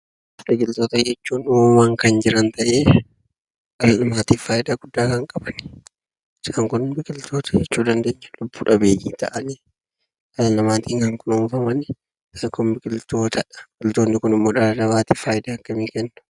Biqiltoota jechuun uumamaan kan jiraan ta'e, maatiidhaaf faayidaa guddaa kan qabaan isaan kun biqiltoota jechuu dandeenya? Lubbu dhabeyii ta'ani dhala namattin kan kunnunfamanidha. Isaan kun immio dhala namattiif faayidaa akkami kennu?